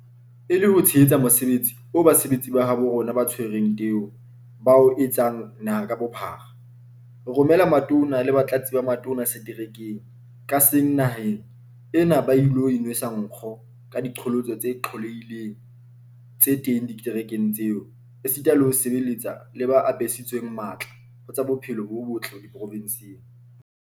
E le ho tshehetsa mosebetsi oo basebetsi ba habo rona ba tshwereng teu ba o etsang naha ka bophara, re romela Matona le Batlatsi ba Matona seterekeng ka seng naheng ena hore ba ilo inwesa ka nkgo ka diqholotso tse qollehileng tse teng diterekeng tseo, esita le ho sebetsa le ba apesitsweng matla ho tsa bophelo bo botle diprovenseng.